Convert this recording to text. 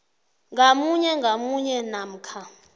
ngamunye ngamunye namkha